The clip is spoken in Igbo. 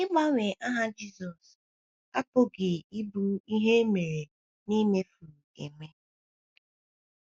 Ịgbanwe aha Jisọshụ apụghị ịbụ ihe e mere mere n’imefu eme.